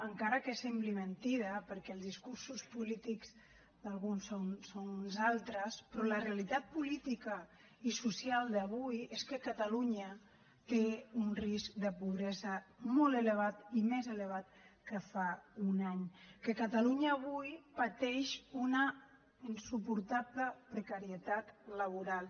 encara que sembli mentida perquè els discursos polítics d’alguns són uns altres però la realitat política i social d’avui és que catalunya té un risc de pobresa molt elevat i més elevat que fa un any que catalunya avui pateix una insuportable precarietat laboral